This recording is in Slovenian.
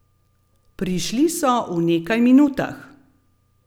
Prišli so v nekaj minutah.